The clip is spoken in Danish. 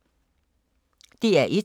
DR1